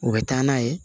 U bɛ taa n'a ye